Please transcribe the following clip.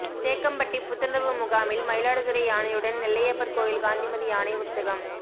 தேக்கம்பட்டி புத்துணர்வு முகாமில் மயிலாடுதுறை யானையுடன் நெல்லையப்பர் கோயில் காந்திமதி யானை உற்சாகம்